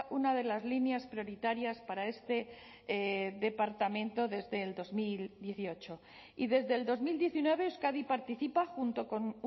una de las líneas prioritarias para este departamento desde el dos mil dieciocho y desde el dos mil diecinueve euskadi participa junto con